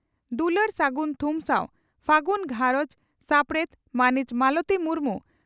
ᱫᱩᱞᱟᱹᱲ ᱥᱟᱹᱜᱩᱱ ᱛᱷᱩᱢ ᱥᱟᱣ ᱾ᱯᱷᱟᱹᱜᱩᱱ ᱜᱷᱟᱨᱚᱸᱡᱽ ᱥᱟᱯᱲᱮᱛ ᱺ ᱢᱟᱹᱱᱤᱡ ᱢᱟᱞᱚᱛᱤ ᱢᱩᱨᱢᱩ